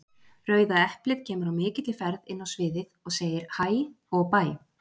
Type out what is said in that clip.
Rauða eplið kemur á mikilli ferð inn á sviðið, og segir HÆ og BÆ!